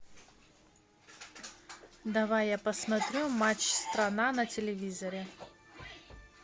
давай я посмотрю матч страна на телевизоре